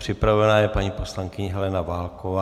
Připravena je paní poslankyně Helena Válková.